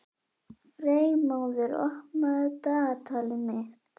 Freymóður, opnaðu dagatalið mitt.